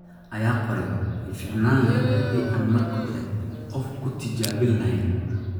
ayaa qoray "... way fiicnaan lahayd haddii aan marka hore qof ku tijaabin lahayn."